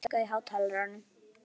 Hreimur, hækkaðu í hátalaranum.